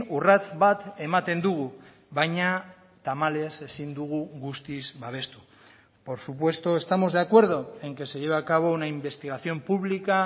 urrats bat ematen dugu baina tamalez ezin dugu guztiz babestu por supuesto estamos de acuerdo en que se lleve a cabo una investigación pública